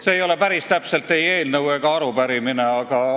See ei ole päris täpselt öeldes ei eelnõu ega arupärimine.